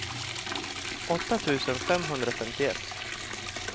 åtta tusen femhundrafemtioett